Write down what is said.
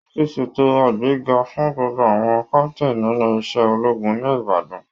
Wọ́n ti ń ṣètò àgbéga fún gbogbo àwọn captain nínú iṣẹ́ ológun ní Ibadan